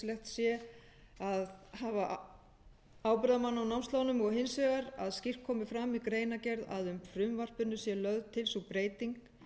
sé að hafa ábyrgðarmann á námslánum og hins vegar að skýrt komi fram í greinargerð að með frumvarpinu sé lögð til sú breyting